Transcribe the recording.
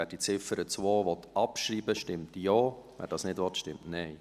Wer die Ziffer 2 abschreiben will, stimmt Ja, wer dies nicht will, stimmt Nein.